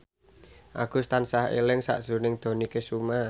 Agus tansah eling sakjroning Dony Kesuma